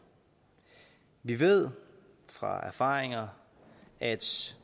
vi ved fra erfaringer at